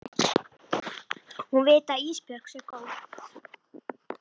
Hún viti að Ísbjörg sé góð.